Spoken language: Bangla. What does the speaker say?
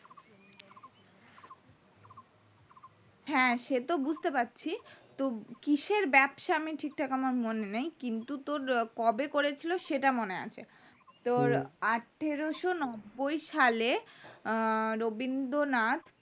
হ্যাঁ সে তো বুঝতে পারছি কিসের ব্যবসা ঠিক ঠাক মনে নাই কিন্তু তোর কবে করেছিল সেটা মনে আছে তোর আঠারোশো নব্বই সালে আহ রবীন্দ্রনাথ